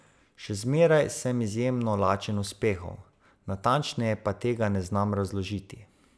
Še zmeraj sem izjemno lačen uspehov, natančneje pa tega ne znam razložiti.